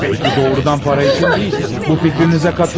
E bəlkə doğrudan para üçün deyil, bu fikrinizə katılıyorum.